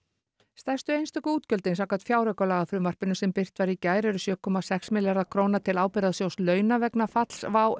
stærstu einstöku útgjöldin samkvæmt fjáraukalagafrumvarpinu sem birt var í gær eru sjö komma sex milljarðar til Ábyrgðarsjóðs launa vegna falls WOW